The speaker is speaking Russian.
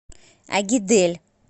агидель